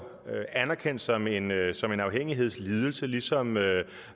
anerkendt som en afhængighedslidelse ligesom